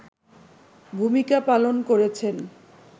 ভূমিকা পালন করেছেন